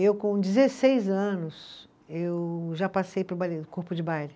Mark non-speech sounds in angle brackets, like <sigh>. Eu, com dezesseis anos, eu já passei para o <unintelligible> Corpo de Baile.